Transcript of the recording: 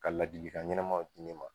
Ka ladilikan ɲɛnɛmaw di ne ma